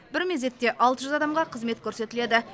бір мезетте алты жүз адамға қызмет көрсетіледі